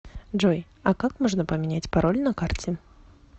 джой а как можно поменять пароль на карте